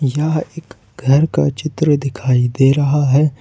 यहा एक घर का चित्र दिखाई दे रहा है।